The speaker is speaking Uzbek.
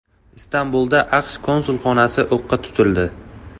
Istanbulda AQSh konsulxonasi o‘qqa tutildi.